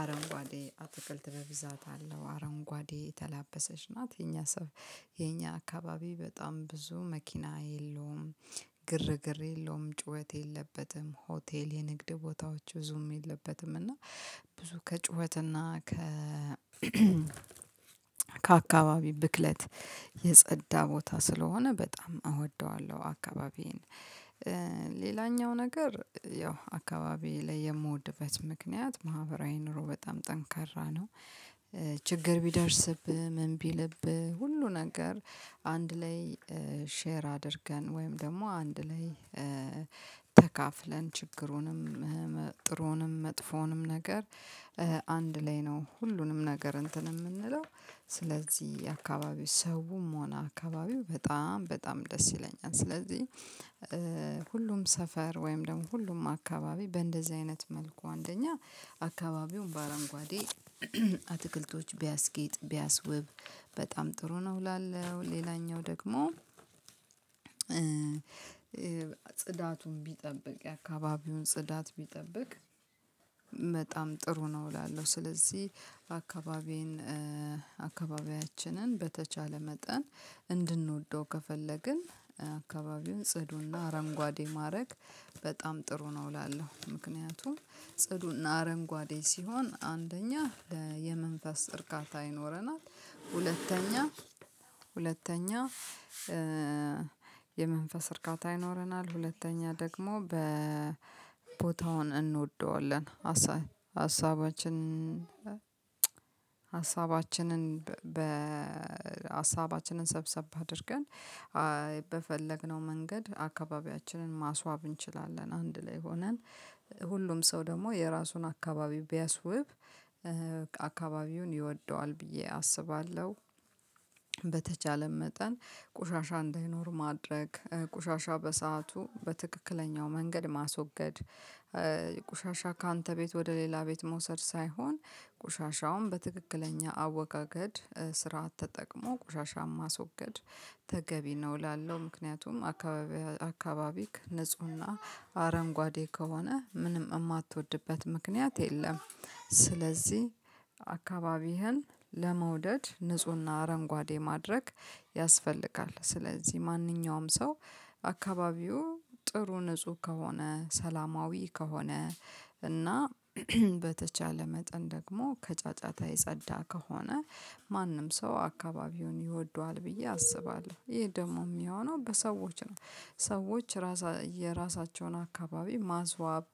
አረንጓዴ አትክልት በብዛት አለው አረንጓዴ የተላበሰች ናት። የኛ የኛ አካባቢ በጣም ብዙ መኪና የለውም። ግርግር የለውም። ጩኸት የለበትም። ሆቴል: የንግድ ቦታዎች ብዙም የለበትም። እና ብዙ ከጩኸት እና ከ- ከአካባቢ ብክለት የጸዳ ቦታ ስለሆነ በጣም እወደዋለሁ አካባቢዬን። ሌላኛው ነገር ያው አካባቢዬ ላይ የምወድበት ምክንያት:- ማህበራዊ ኑሮ በጣም ጠንካራ ነው። ችግር ቢደርስብህ ምን ቢልብህ ሁሉ ነገር አንድ ላይ ሼር አድርገን ወይም ደግሞ አንድ ላይ- ተካፍለን ችግሩንም :ጥሩንም :መጥፎንም ነገር አንድ ላይ ነው ሁሉንም ነገር እንትን የምንለው ስለዚህ አካባቢው ሰውም ሆነ አካባቢው በጣም በጣም ደስ ይለኛል። ስለዚህ:- ሁሉም ሰፈር ወይም ደግሞ ሁሉም አካባቢ በእንደዚህ አይነት መልኩ አንደኛ አካባቢውን በአረንጓዴ አትክልቶች ቢያስጌጥ ቢያስውብ በጣም ጥሩ ነው ይላል። ሌላኛው ደግሞ- ጽዳቱን ቢጠብቅ የአካባቢውን ጽዳት ቢጠብቅ በጣም ጥሩ ነው እላለሁ። ስለዚህ አካባቢዬን አካባቢያችንን በተቻለ መጠን እንድንወደው ከፈለግን- አካባቢውን ጽዱና አረንጓዴ ማድረግ በጣም ጥሩ ነው እላለሁ። ምክንያቱም ጽዱና አረንጓዴ ሲሆን አንደኛ የመንፈስ እርካታ ይኖረናል: ሁለተኛ ሁለተኛ- የመንፈስ እርካታ ይኖረናል ሁለተኛ ደግሞ በቦታውን እንወደዋለን። ሀሳባችን- ሀሳባችንን በሀሳባችንን ሰብሰብ አድርገን በፈለግነው መንገድ አካባቢያችንን ማስዋብ እንችላለን። አንድ ላይ ሆነን ሁሉም ሰው ደግሞ የራሱን አካባቢ ቢያስውብ- አካባቢውን ይወደዋል ብዬ አስባለሁ። በተቻለም መጠን ቁሻሻ እንዳይኖር ማድረግ: ቁሻሻ በሰአቱ በትክክለኛው መንገድ ማስወገድ: ቁሻሻ ካንተ ቤት ወደ ሌላ ቤት መውሰድ ሳይሆን ቁሻሻውም በትክክለኛ አወጋገድ ስራ ተጠቅሞ ቆሻሻን ማስወገድ ተገቢ ነው እላለሁ። ምክንያቱም አካባቢ ንፁህና አረንጓዴ ከሆነ ምንም የማትወድበት ምክንያት የለም። ስለዚህ አካባቢህን ለመውደድ ንፁህና አረንጓዴ ማድረግ ያስፈልጋል። ስለዚህ ማንኛውም ሰው አካባቢው ጥሩ ንጹህ ከሆነ ሰላማዊ ከሆነ እና- በተቻለ መጠን ደግሞ ከጫጫታ የጸዳ ከሆነ ማንም ሰው አካባቢውን ይወደዋል ብዬ አስባለሁ። ይሄ ደግሞ የሚሆነው በሰዎች ነው ሰዎች ራሳ የራሳቸውን አካባቢ ማስዋብ: